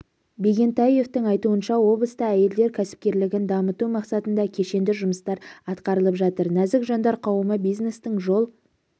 бегентаевтың айтуынша облыста әйелдер кәсіпкерлігін дамыту мақсатында кешенді жұмыстар атқарылып жатыр нәзік жандар қауымы бизнестің жол